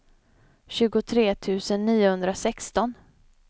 tjugotre tusen niohundrasexton